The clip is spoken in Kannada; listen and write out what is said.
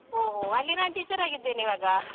ಓಹ್, ಅಲ್ಲಿ ನಾನ್ teacher ಆಗಿದ್ದೇನಿವಾಗ.